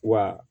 Wa